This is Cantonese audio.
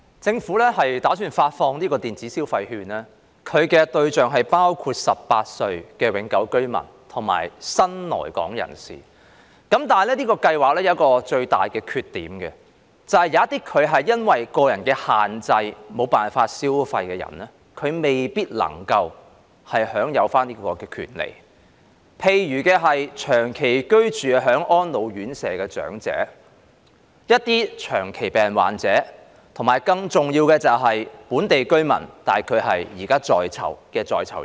政府打算發放電子消費券的對象包括年滿18歲的永久性居民及新來港人士，但這計劃有一個最大的缺點，便是有一些人會因為個人限制，而無法消費的人未必能夠享有這種權利。例如長期居住在安老院舍的長者、長期病患者，以及更重要的是現時在囚的本地居民。